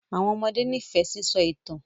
Àwọn ọmọdé n'ifẹ sisọ itan.